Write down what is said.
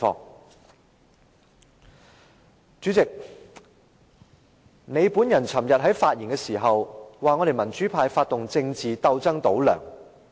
代理主席，你昨天發言時說，我們民主派發動政治鬥爭"倒梁"。